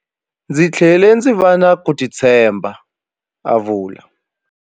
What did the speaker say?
Ndzi tlhele ndzi va na ku titshemba, a vula.